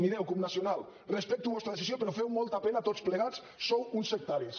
mireu cup nacional respecto la vostra decisió però feu molta pena tots plegats sou uns sectaris